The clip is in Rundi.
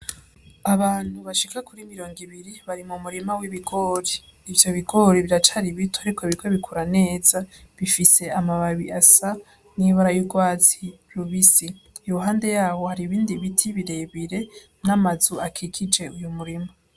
Abantu bashika kuri mirongo ibiri bari mu murima w'ibigori. Ivyo bigori biracari bito ariko biriko bikura neza, bifise amababi asa n'ibara y'urwatsi rubisi. Iruhande yaho hari ibindi biti birebire n'amazu akikije uyo murima.